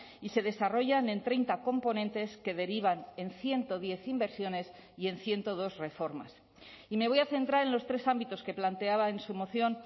y se desarrollan en treinta componentes que derivan en ciento diez inversiones y en ciento dos reformas y me voy a centrar en los tres ámbitos que planteaba en su moción